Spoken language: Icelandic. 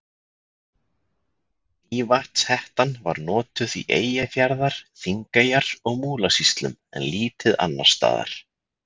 Mývatnshettan var notuð í Eyjafjarðar-, Þingeyjar- og Múlasýslum en lítið annars staðar.